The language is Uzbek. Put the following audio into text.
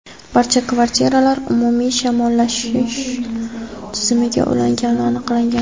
barcha kvartiralar umumiy shamollatish tizimiga ulangani aniqlangan.